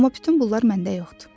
Amma bütün bunlar məndə yoxdur.